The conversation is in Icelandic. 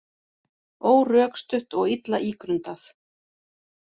Órökstutt og illa ígrundað